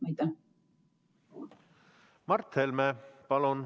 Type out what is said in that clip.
Mart Helme, palun!